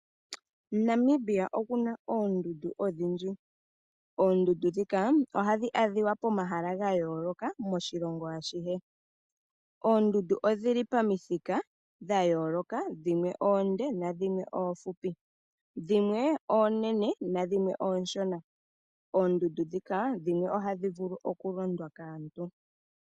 Namibia omuna oondundu odhindji. Oondundu dhika ohadji adhika pomahala ga yooloka moshilongo ashihe. Oondundu odhili pamithika tha yooloka, dhimwe oonde nadhimwe oofupi. Dhimwe oonene ma dhimwe ooshona. Oondundu dhika, dhimwe ohadhi vulu okulondwa kaantu.